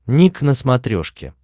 ник на смотрешке